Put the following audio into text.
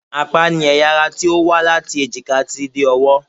Apá ni ẹ̀yà ara tí ó wá láti èjìká títí dé ọwọ́